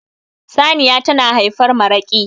saniya tana haifar maraki